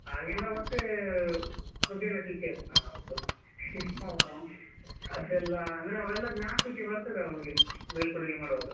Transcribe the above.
ಹಾಗೆ ನಾವು ಮತ್ತೆ ಮುದ್ದಿನ ಶಿಷ್ಯರು ಅದೆಲ್ಲಾ ಅಂದ್ರೆ ಅವೆಲ್ಲಾ ಜ್ಞಾಪಕಕ್ಕೆ ಬರ್ತದೆ ಆವುಗೆ ಬೀಳ್ಕೊಡುಗೆ ಮಾಡುವಾಗ.